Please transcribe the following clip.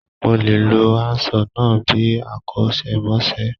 Mo lè lo handsaw náà bíi akọ́ṣẹ́mọṣẹ́.